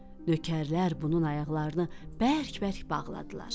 Nökərlər bunun ayaqlarını bərk-bərk bağladılar.